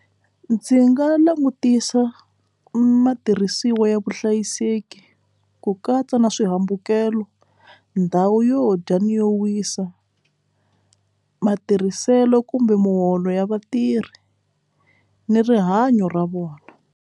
Ndzi nga langutisa matirhisiwa ya vuhlayiseki ku katsa na swihambukelo ndhawu yo dya ni yo wisa matirhiselo kumbe muholo ya vatirhi ni rihanyo ra vona.